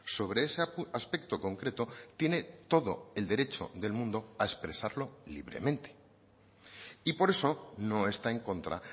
sobre ese aspecto concreto tiene todo el derecho del mundo a expresarlo libremente y por eso no está en contra